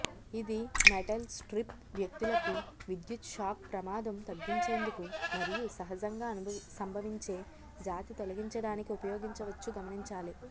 ఇది metal strip వ్యక్తులకు విద్యుత్ షాక్ ప్రమాదం తగ్గించేందుకు మరియు సహజంగా సంభవించే జాతి తొలగించడానికి ఉపయోగించవచ్చు గమనించాలి